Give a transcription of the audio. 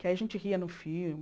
Que aí a gente ria no filme.